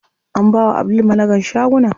An bawa Abdul managan shagunan.